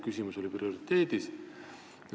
Küsimus oli prioriteedis.